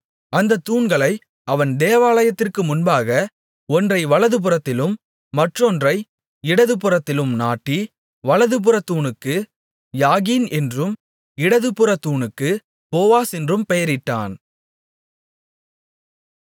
அந்தத் தூண்களை அவன் தேவாலயத்திற்கு முன்பாக ஒன்றை வலதுபுறத்திலும் மற்றொன்றை இடது புறத்திலும் நாட்டி வலதுபுறத் தூணுக்கு யாகீன் என்றும் இடதுபுறத் தூணுக்கு போவாஸ் என்றும் பெயரிட்டான்